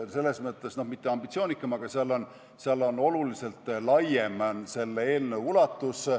Selles mõttes, et mitte ambitsioonikam, aga selle eelnõu ulatus on oluliselt laiem.